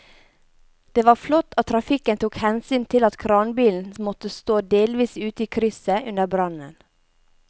Det var flott at trafikken tok hensyn til at kranbilen måtte stå delvis ute i krysset under brannen.